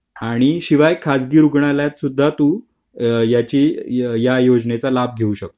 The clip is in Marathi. आणि शिवाय खासगी रुग्णालयात सुद्धा तू या योजनेचा लाभ घेऊ शकता